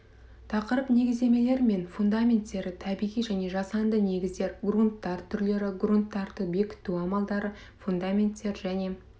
тақырып негіздемелер мен фундаменттері табиғи және жасанды негіздер грунттар түрлері грунттарды бекіту амалдары фундаменттер және